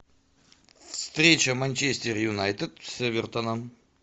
встреча манчестер юнайтед с эвертоном